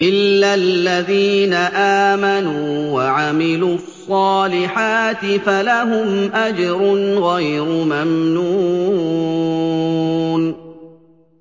إِلَّا الَّذِينَ آمَنُوا وَعَمِلُوا الصَّالِحَاتِ فَلَهُمْ أَجْرٌ غَيْرُ مَمْنُونٍ